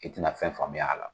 I ti na fɛn faamuya la.